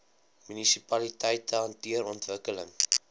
munisipaliteite hanteer ontwikkeling